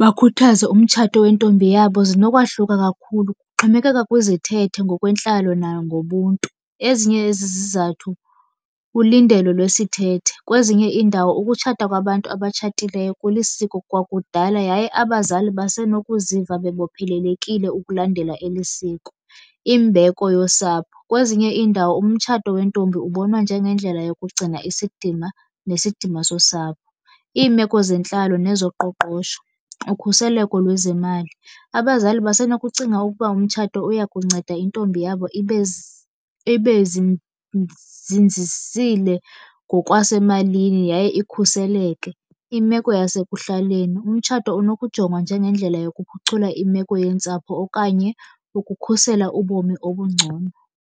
bakhuthaze umtshato wentombi yabo zinokwahluka kakhulu, kuxhomekeka kwizithethe, ngokwentlalo nangobuntu. Ezinye zezi zizathu, ulindelo lwesithethe. Kwezinye iindawo ukutshata kwabantu abatshatileyo kulisiko kwakudala yaye abazali basenokuziva bebophelelekile ukulandela eli siko. Imbeko yosapho, kwezinye iindawo umtshato wentombi ubonwa njengendlela yokugcina isidima nesidima sosapho. Iimeko zentlalo nezoqoqosho, ukhuseleko lwezemali, abazali basenokucinga ukuba umtshato uyakunceda intombi yabo ibe , ibe zinzisile ngokwasemalini yaye ikhuseleke. Imeko yasekuhlaleni, umtshato unokujongwa njenge ndlela yokuphucula imeko yentsapho okanye ukukhusela ubomi obungcono.